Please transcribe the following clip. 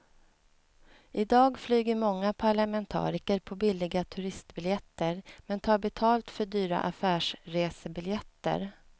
I dag flyger många parlamentariker på billiga turistbiljetter men tar betalt för dyra affärsresebiljetter.